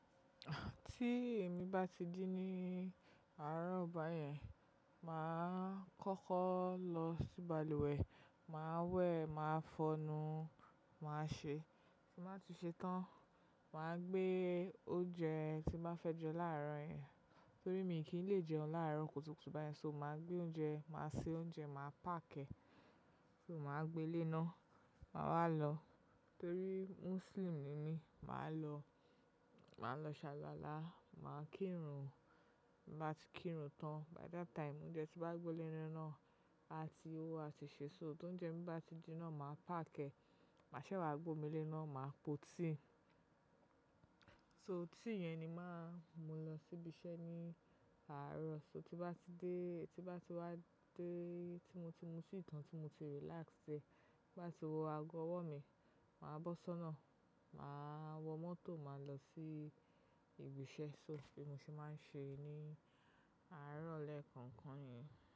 Tí èmi bá ti ji ní àárọ̀ báyẹn, màá kọ́kọ́ lọ sí balùwẹ̀, màá wẹ̀, màá fọnu, màá ṣe. Tin bàá ti ṣe tán, màá gbé oúnjẹ tín bàá fẹ́ jẹ láàárọ̀ yẹn, torí mi kìn lè jẹun láàárọ̀ kùtùkùtù báyẹn. So màá gbé oúnjẹ, màá se oúnjẹ, màá pákìẹ, so màá gbé lé iná, màá wá lọ. Torí Muslim ni mí, màá lọ, màá lọ ṣàlualà, màá kírun. Tí bàá ti kírun tán, by that time oúnjẹ tí bàá gbé lé iná náà, a ti ó, a ti ṣè sou. Ti óúnjẹ mí bá ti jinná, màá pákìẹ. Màá ṣẹ́ wá gbé omi lé iná, màá po tíì. So tíì yẹn ni màá mú lọ sí ibi iṣẹ́ ní àárọ̀. So tí bá ti dé, ètí bá ti wá dé, tí mo ti mu tí tàn, tí mo ti relax sé, bá ti wo ago ọwọ́ mi, màá bọ́sọ́nà, màá wọ mọ́tò, màá lọ sí ibi iṣẹ́. So bi mo ń ṣe maa se ní àárọ̀ lẹ́ẹ̀kọ̀kan yẹn.